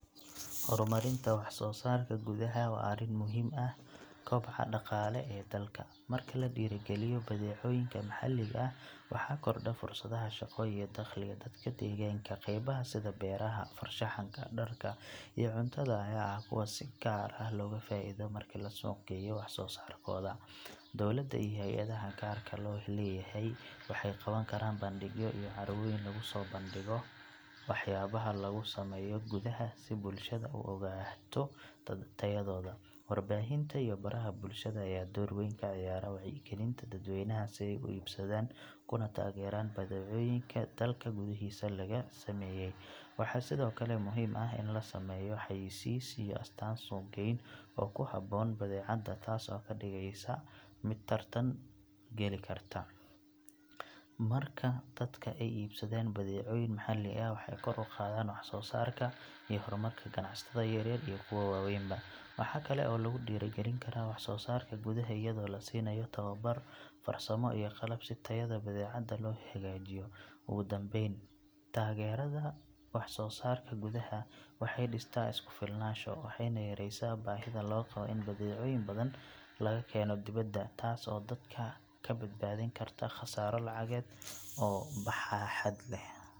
Horumarinta wax soo saarka gudaha waa arrin muhiim u ah koboca dhaqaale ee dalka. Marka la dhiirrigeliyo badeecooyinka maxalliga ah, waxaa kordha fursadaha shaqo iyo dakhliga dadka deegaanka. Qaybaha sida beeraha, farshaxanka, dharka, iyo cuntada ayaa ah kuwa si gaar ah looga faa’iido marka la suuqgeeyo wax soo saarkooda. Dowladda iyo hay’adaha gaarka loo leeyahay waxay qaban karaan bandhigyo iyo carwooyin lagu soo bandhigo waxyaabaha laga sameeyo gudaha si bulshada u ogaato tayadooda. Warbaahinta iyo baraha bulshada ayaa door weyn ka ciyaara wacyigelinta dadweynaha si ay u iibsadaan kuna taageeraan badeecooyinka dalka gudihiisa laga sameeyay. Waxaa sidoo kale muhiim ah in la sameeyo xayeysiis iyo astaan suuq-geyn oo ku habboon badeecada, taas oo ka dhigaysa mid tartan gali karta. Marka dadka ay iibsadaan badeecooyin maxalli ah, waxay kor u qaadaan wax soo saarka iyo horumarka ganacsatada yaryar iyo kuwa waaweynba. Waxaa kale oo lagu dhiirrigelin karaa wax soo saarka gudaha iyadoo la siinayo tababaro farsamo iyo qalab si tayada badeecada loo hagaajiyo. Ugu dambayn, taageerada wax soo saarka gudaha waxay dhistaa isku filnaansho, waxayna yareysaa baahida loo qabo in badeecooyin badan laga keeno dibadda, taas oo dalka ka badbaadin karta khasaaro lacageed oo baaxad leh.